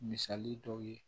Misali dɔw ye